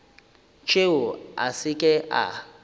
tšeo a se ke a